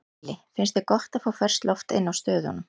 Lillý: Finnst þér gott að fá ferskt loft inná stöðunum?